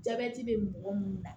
Jabɛti be mɔgɔ munnu na